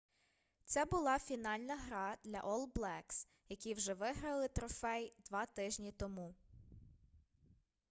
це була фінальна гра для ол блекс які вже виграли трофей 2 тижні тому